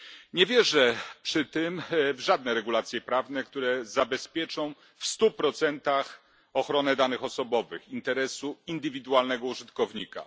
Nie wierzę przy tym w żadne regulacje prawne, które zabezpieczą w stu procentach ochronę danych osobowych, interesu indywidualnego użytkownika.